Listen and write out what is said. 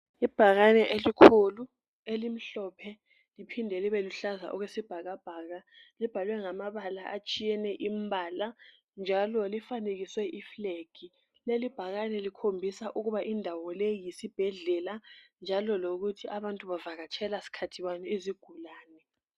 Ibhakane elikhulu elimhlophe liphinde libeluhlaza okwesibhakabhaka libhalwe ngamabala atshiyene imbala njalo lifanekiswe iflag leli ibhakane likhombisa ukuba leyi indawo yisibhedlela njalo lokuthi abantu bavakatshela sikhathi bani izigulane.